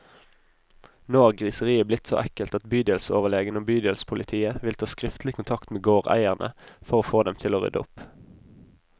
Nå har griseriet blitt så ekkelt at bydelsoverlegen og bydelspolitiet vil ta skriftlig kontakt med gårdeierne, for å få dem til å rydde opp.